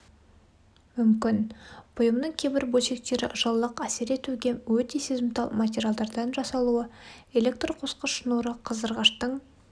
мүмкін бұйымның кейбір бөлшектері жылылық әсер етуге өте сезімтал материалдардан жасалуы электр қосқыш шнуры қыздырғыштың